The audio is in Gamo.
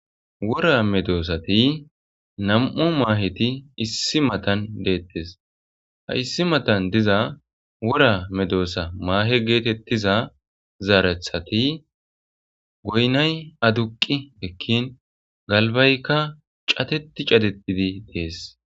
Wora medosati Namu Maheti issi matan de'tes ha issi matan diza Wora medosa mahe getetiza zerethati goynay aduqi ekin galbayka Cadeti Cadeti Dess